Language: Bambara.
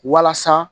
Walasa